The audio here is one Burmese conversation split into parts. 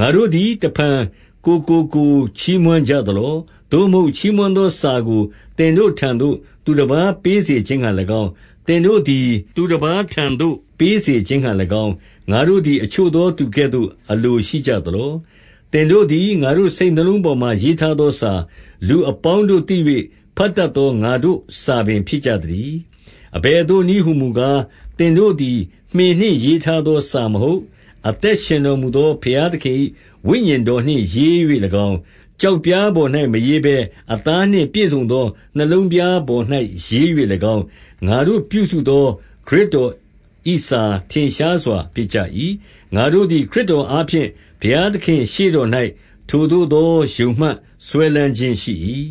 ငါတို့သည် တဖန်ကိုယ်ကိုကိုယ် ချီးမွမ်းကြ သလော။ သို့မဟုတ်ချီးမွမ်းသောစာကို သင်တို့ထံသို့ သူတပါးပေးစေခြင်းငှါ၎င်း၊ သင်တို့သည်သူတပါးထံသို့ ပေးစေခြင်းငှါ၎င်း၊ ငါတို့သည်အချို့သောသူကဲ့သို့ အလိုရှိကြသလော။ သင်တို့သည် ငါတို့စိတ်နှလုံးပေါ်၌ ရေးထားသောစာ၊ လူအပေါင်းတို့သိ၍ ဘတ်တတ်သောငါတို့ စာပင်ဖြစ်ကြသတည်း။ အဘယ်သို့နည်းဟူမူကား၊ သင်တို့သည် မှင်နှင့် ရေးထားသော စာမဟုတ်။ အသက်ရှင်တော်မူသော ဘုရားသခင်၏ ဝိညာဉ်တော်နှင့်ရေး၍၎င်း၊ ကျောက်ပြားပေါ်၌မရေးဘဲ အသားနှင့်ပြည့်စုံသော နှလုံးပြားပေါ်၌ ရေး၍၎င်း၊ ငါတို့ပြုစုသော ခရစ်တော်၏စာ ထင်ရှားစွာဖြစ်ကြ၏။ ငါတို့သည် ခရစ်တော်အားဖြင့် ဘုရားသခင့် ရှေ့တော်၌ ထိုသို့သော ယုံမှတ်စွဲလမ်းခြင်းရှိ၏။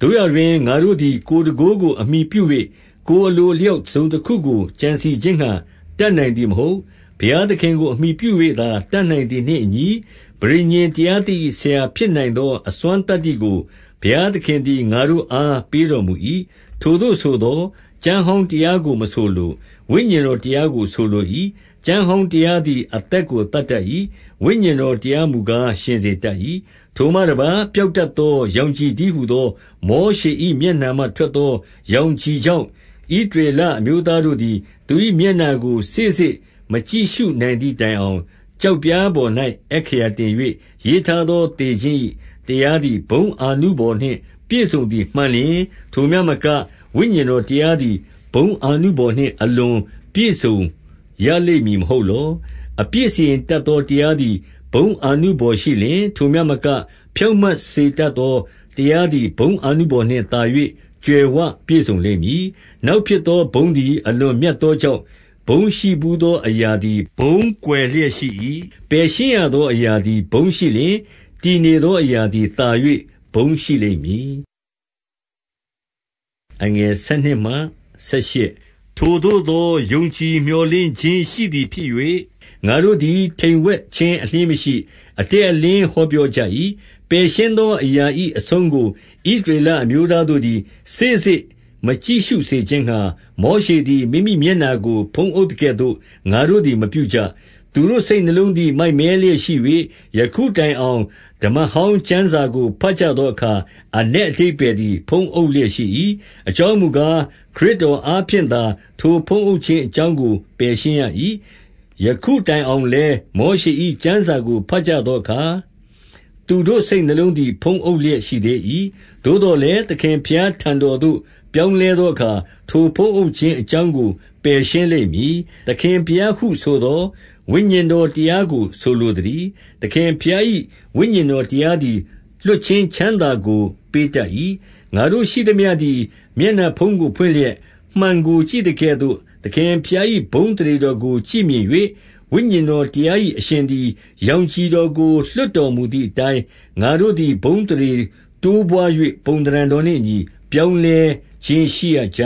သို့ရာတွင် ငါတို့သည်ကိုယ်တန်ခိုးကိုအမှီပြု၍၊ ကိုယ်အလိုအလျောက် တစုံတခုကိုကြံစည်ခြင်းငှါ တတ်နိုင်သည်မဟုတ်။ ဘုရားသခင်ကိုအမှီပြု၍သာ တတ်နိုင်သည်နှင့်အညီ၊ ပဋိညာဉ်တရားသစ်၏ ဆရာဖြစ်နိုင်သော အစွမ်းသတ္တိကို ဘုရားသခင်သည် ငါတို့အားပေးတော် မူ၏။ ထိုသို့ဆိုသော် ကျမ်းဟောင်းတရားကိုမဆိုလို၊ ဝိညာဉ်တော်တရားကိုဆိုလို၏။ ကျမ်းဟောင်းတရားသည် အသက်ကိုသတ်တတ်၏။ ဝိညာဉ်တော်တရားမူကား ရှင်စေတတ်၏။ ထိုမှတပါး ပျောက်တတ်သော ရောင်ခြည်တည်းဟူသော မောရှေ၏မျက်နှာမှ ထွက်သောရောင်ခြည် ကြောင့်၊ ဣသရေလအမျိုးသားတို့သည် သူ၏မျက်နှာကို စေ့စေ့မကြည့်ရှုနိုင်သည်တိုင်အောင်၊ ကျောက်ပြားပေါ်၌ အက္ခရာတင်၍ ရေးထားသောသေခြင်း၏တရားသည် ဘုန်းအာနုဘော်နှင့် ပြည့်စုံသည်မှန်လျှင်၊ ထိုမျှမက ဝိညာဉ်တော်တရားသည် ဘုန်းအာနုဘော်နှင့် အလွန်ပြည့်စုံရလိမ့်မည် မဟုတ်လော။ အပြစ်စီရင်တတ်သောတရားသည် ဘုန်းအာနုဘော်ရှိလျှင်၊ ထိုမျှမက ဖြောင့်မတ်စေတတ်သော တရား သည် ဘုန်းအာနုဘော်နှင့် သာ၍ ကြွယ်ဝပြည့်စုံလိမ့်မည်။ နောက်ဖြစ်သော ဘုန်းသည် အလွန်မြတ်သောကြောင့်၊ ဘုန်းရှိဘူးသော အရာသည် ဘုန်းကွယ်လျက် ရှိ၏။ ပယ်ရှင်းရသောအရာသည် ဘုန်းရှိလျှင်၊ တည်နေသောအရာသည်သာ၍ ဘုန်းရှိလိမ့်မည်။ ထိုသို့သော ယုံကြည်မြော်လင့်ခြင်းရှိသည်ဖြစ်၍ ငါတို့သည် တိမ်ဝှက်ခြင်း အလျှင်းမရှိ။ အတည်အလင်း ဟောပြောကြ၏။ ပယ်ရှင်းသောအရာ၏အဆုံးကို ဣသရေလအမျိုးသားတို့သည် စေ့စေ့မကြည့်ရှုစေခြင်းငှါ မောရှ သည် မိမိမျက်နှာကို ဖုံးအုပ်သကဲ့သို့ ငါတို့သည်မပြုကြ။ သူတို့စိတ်နှလုံးသည် မိုက်မဲလျက်ရှိ၍၊ ယခုတိုင်အောင် စမ္မကျမ်းစာကို ဘတ်ကြသောအခါ အနက် အဓိပ္ပါယ်သည် ဖုံးအုပ်လျက်ရှိ၏။ အကြောင်းမူကား၊ ခရစ်တော်အားဖြင့်သာ ထိုဖုံးအုပ်ခြင်း အကြောင်းကို ပယ်ရှင်းရ၏။ ယခုတိုင်အောင်လည်း၊ မောရှ၏ကျမ်းစာကို ဘတ်ကြသောအခါ၊ သူတို့စိတ်နှလုံးသည် ဖုံးအုပ်လျက်ရှိ သေး၏။ သို့သော်လည်း သခင်ဘုရားထံတော်သို့ ပြောင်းလဲသောအခါ၊ ထိုဖုံးအုပ်ခြင်းအကြောင်းကို ပယ်ရှင်း လိမ့်မည်။ သခင်ဘုရားဟုဆိုသော် ဝိညာဉ်တော်တရားကို ဆိုလိုသတည်း။ သခင်ဘုရား၏ ဝိညာဉ်တော်တရားသည် လွှတ်ခြင်းချမ်းသာကို ပေးတတ်၏။ ငါတို့ရှိသမျှသည် မျက်နှာဖုံးကိုဖွင့်လျက် မှန်ကို ကြည့်သကဲ့သို့၊ သခင်ဘုရား၏ ဘုန်းအသရေတော်ကို ကြည့်မြင်၍၊ ဝိညာဉ်တော်တရား၏ အရှင်သည် ရောင်ခြည်တော်ကို လွှတ်တော်မူသည့်အတိုင်း၊ ငါတို့သည် ဘုန်းအသရေ တိုးပွါး၍ ပုံသဏ္ဌာန်တော်နှင့်အညီ ပြောင်းလဲ ခြင်း ရှိရကြ